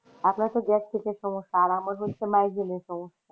আপনার তো gastric এর সমস্যা আর আমার হচ্ছে migraine এর সমস্যা।